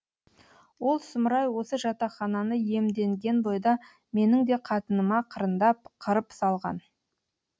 ол сұмырай осы жатақхананы иемденген бойда менің де қатыныма қырындап қырып салған